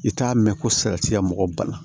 I t'a mɛn ko salatiya mɔgɔw ban na